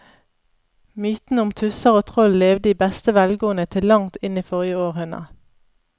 Mytene om tusser og troll levde i beste velgående til langt inn i forrige århundre.